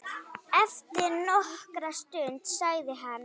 Eftir nokkra stund sagði hann